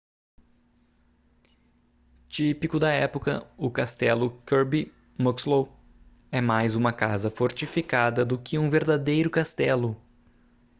típico da época o castelo kirby muxloe é mais uma casa fortificada do que um verdadeiro castelo